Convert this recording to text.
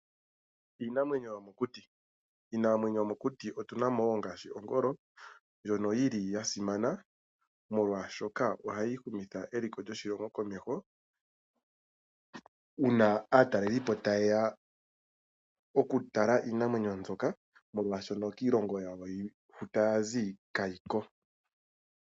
Iinamwenyo yomokuti, miinamwenyo yomokuti otuna mo ngaashi ongolo ndjono yili ya simana molwaashoka ohayi humitha eliko lyoshilongo komeho uuna aatalelelipo taye ya okutala iinamwenyo mbyoka molwaashono kiilongo yawo hu taya zi kayiko.